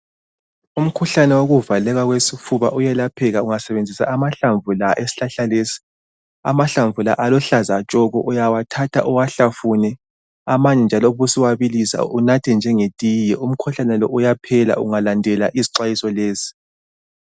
Umkhuhlane wokuvaleka kwesifuba uyelapheka ungasebenzisa amahlamvu la esihlahla lesi . Amahlamvu la aluhlaza tshoko uyawathatha uwahlafune . Amanye njalo ubusuwabilisa unathe njenge tiye . Umkhuhlane lo uyaphela ungalandela izixwayiso lezi .